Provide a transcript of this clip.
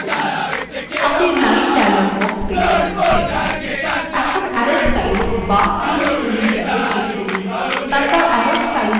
আপনি line dialog box দেখতে পাচ্ছেন এখন arrow styles বা তীর style ট্যাবে click করুন তারপরে arrow styles drop down বাটনে click করুন